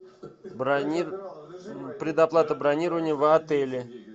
предоплата бронирования в отеле